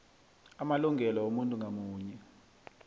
amalungelo womuntu ngamunye